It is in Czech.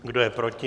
Kdo je proti?